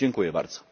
Dziękuję bardzo.